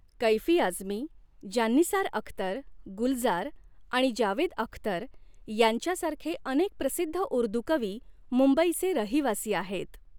कैफी आझमी, जान्निसार अख्तर, गुलजार आणि जावेद अख्तर यांच्यासारखे अनेक प्रसिद्ध ऊर्दू कवी मुंबईचे रहिवासी आहेत.